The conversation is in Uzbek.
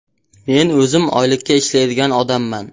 Men o‘zim oylikka ishlaydigan odamman.